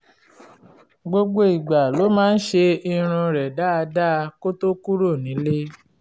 gbogbo ìgbà ló máa ń ṣe irun rẹ̀ dáadáa kó tó kúrò nílé